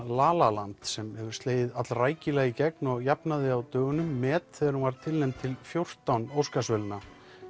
la la land sem hefur slegið allrækilega í gegn og jafnaði á dögunum met þegar hún var tilnefnd til fjórtán Óskarsverðlauna